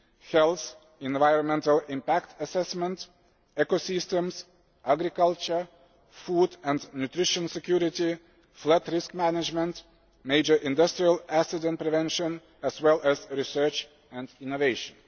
health, environmental impact assessment, ecosystems, agriculture, food and nutrition security, flood risk management, major industrial accident prevention, and research and innovation.